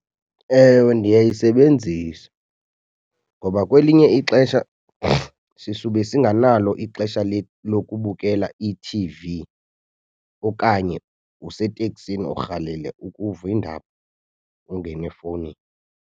Ewe, ndiyayisebenzisa ngoba kwelinye ixesha sisube singanalo ixesha lokubukela ithivi okanye useteksini urhalela ukuva iindaba, ungene efowunini.